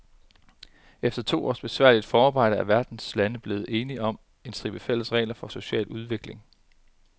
Efter to års besværligt forarbejde er verdens lande blevet enige om en stribe fælles regler for social udvikling.